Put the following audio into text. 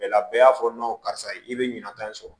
bɛɛ y'a fɔ karisa i bɛ ɲinata in sɔrɔ